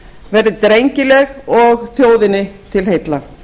verði drengileg og þjóðinni til heilla